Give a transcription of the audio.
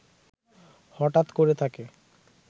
হটাৎ করে তাকে